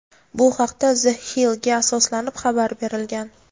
Bu haqda "The Hill"ga asoslanib xabar berilgan.